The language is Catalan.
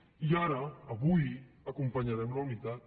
i ara avui acompanyarem la unitat